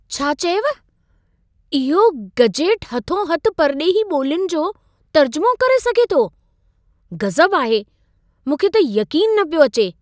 छा चयव! इहो गजेट हथो-हथु परॾेही ॿोल्युनि जो तर्जुमो करे सघे थो? गज़ब आहे! मूंखे त यक़ीनु न पियो अचे।